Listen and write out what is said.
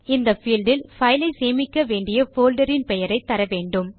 இந்த பீல்ட் இல் பைலை சேமிக்க வேண்டிய போல்டர் இன் பெயரை தர வேண்டும்